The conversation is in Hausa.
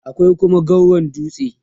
akwai Kuma gauron dutse